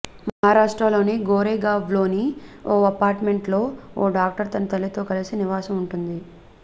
మహారాష్ట్రలోని గోరేగావ్లోని ఓ అపార్ట్మెంట్లో ఓ డాక్టర్ తన తల్లితో కలిసి నివాసం ఉంటుంది